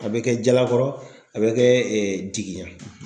A bɛ kɛ jalakɔrɔ a bɛ kɛ Jigiya ye